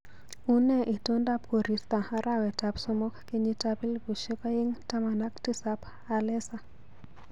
Unee itondab koristo arawetap somok kenyitab elbushek aeng taman ak tisap alesa